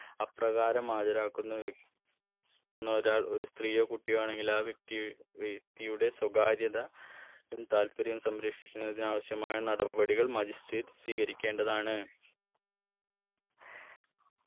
അപ്രകാരം ആചാരാക്കുന്ന വ്യ ക്കുന്ന ഒരാൾ ഒരു സ്ത്രീയോ കുട്ടിയോ ആണെങ്കിൽ ആ വ്യക്തി വ്യക്തിയുടെ സ്വകാര്യത ഉം താല്പര്യവും സംരക്ഷിക്കുന്നതിന് ആവശ്യമായ നടപടികൾ magistrate സ്വീകരിക്കേണ്ടതാണ്